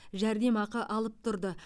жәрдемақы алып тұрды